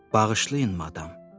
Bağışlayın, madam.